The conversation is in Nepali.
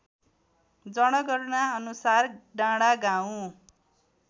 जनगणनाअनुसार डाँडागाउँ